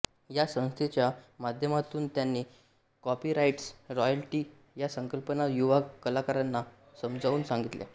या संस्थेच्या माध्यमातून त्यांनी कॉपीराईट्स रॉयल्टी या संकल्पना युवा कलाकारांना समजावून सांगितल्या